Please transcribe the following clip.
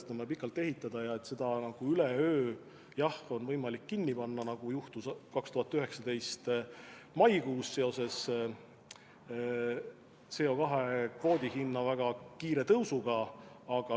Seda on vaja pikalt ümber ehitada ja seda üleöö pole võimalik kinni panna, nagu juhtus 2019. aasta maikuus seoses CO2 kvoodi hinna väga kiire tõusuga.